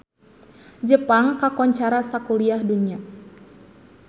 Jepang kakoncara sakuliah dunya